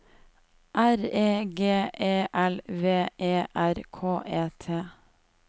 R E G E L V E R K E T